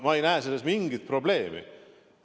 Ma ei näe selles mingit probleemi.